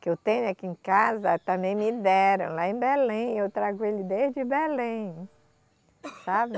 que eu tenho aqui em casa, também me deram lá em Belém, eu trago ele desde Belém, sabe?